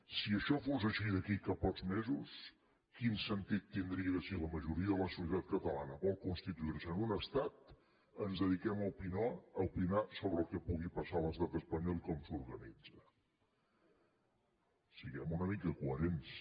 si això fos així d’aquí a pocs mesos quin sentit tindria si la majoria de la societat catalana vol constituir se en un estat ens dediquem a opinar sobre el que pugui passar a l’estat espanyol i com s’organitza siguem una mica coherents